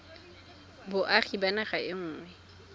boagi ba naga e nngwe